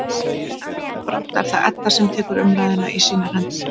En brátt er það Edda sem tekur umræðuna í sínar hendur.